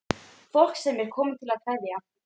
Fólk sem er komið til að kveðja.